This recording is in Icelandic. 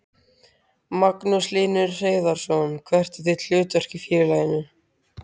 Magnús Hlynur Hreiðarsson: Hvert er þitt hlutverk í félaginu?